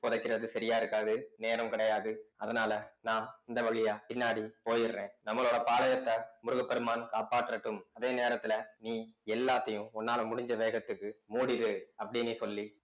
புதைக்கிறது சரியா இருக்காது நேரம் கிடையாது அதனால நான் இந்த வழியா பின்னாடி போயிடறேன் நம்மளோட பாளையத்தை முருகப் பெருமான் காப்பாற்றட்டும் அதே நேரத்துல நீ எல்லாத்தையும் உன்னால முடிஞ்ச வேகத்துக்கு மூடிடு அப்படின்னு சொல்லி